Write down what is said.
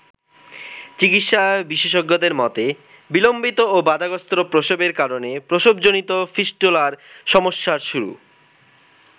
চিকিৎসা বিশেষজ্ঞদের মতে বিলম্বিত ও বাধাগ্রস্থ প্রসবের কারণে প্রসবজনিত ফিস্টুলার সমস্যার শুরু।